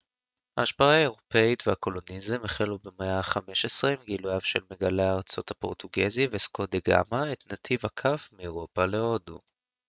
ההשפעה האירופית והקולוניאליזם החלו במאה ה-15 עם גילויו של מגלה הארצות הפורטוגזי וסקו דה גאמה את נתיב הכף מאירופה להודו